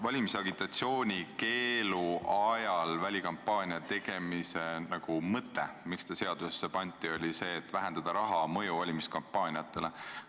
Valimisagitatsiooniaegse välikampaania keelu mõte – põhjus, miks see seadusesse pandi – oli see, et vähendada raha mõju valimiskampaaniatele.